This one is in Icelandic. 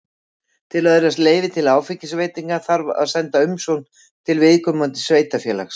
Til að öðlast leyfi til áfengisveitinga þarf að senda umsókn til viðkomandi sveitarfélags.